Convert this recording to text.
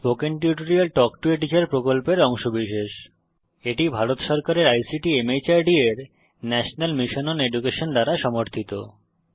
spoken tutorial talk to a teacher প্রকল্পের অংশবিশেষ এটি ভারত সরকারের আইসিটি মাহর্দ এর ন্যাশনাল মিশন ওন এডুকেশন দ্বারা সমর্থিত